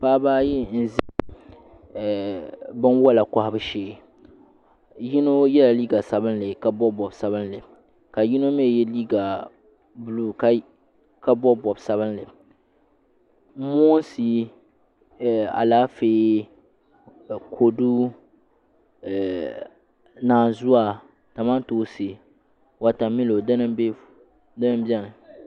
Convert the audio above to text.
Paɣaba ayi n ʒɛ binwola kohabu shee yino yɛla liiga sabinli ka bob bob sabinli ka yino mii yɛ liiga buluu ka bob bob sabinli moonsi Alaafee kodu naanzuwa kamantoosi wotamilo dini n biɛni